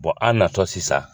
Bon an natɔ sisan